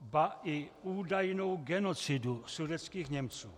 ba i údajnou genocidu sudetských Němců.